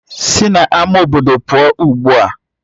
Sina ama obodo pụọ ugbua!